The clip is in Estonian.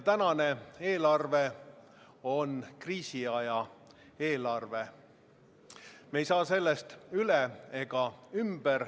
Tänane eelarve on kriisiaja eelarve, me ei saa sellest üle ega ümber.